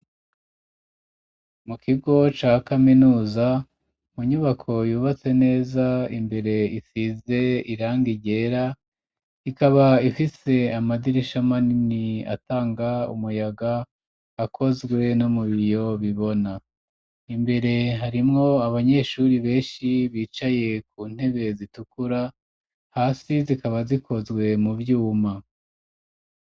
Mu kigo ca kaminuza mu nyubako yubatse neza, imbere isize irangi ryera, ikaba ifise amadirisha manini atanga umuyaga ,akozwe no mu biyo bibona ,imbere harimwo abanyeshuri benshi bicaye ku ntebe zitukura ,hasi zikaba zikozwe mu vyuma.